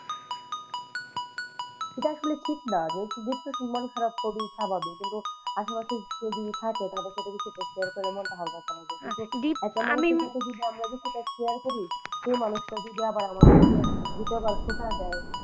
এটা আসলে ঠিক না যেহেতু depression মন খারাপ করি স্বাভাবিক কিন্তু আশেপাশে কেউ যদি থাকে তাহলে তাদের সাথে কিছু share করে মনটা হাল্কা করা যায় আমরা যতটা খেয়াল করি সেই মানুষটা যদি আমাদেরকে দ্বিতীয় বার খোটা দেয় তাহলে,